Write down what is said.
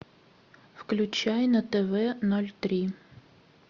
включай на тв ноль три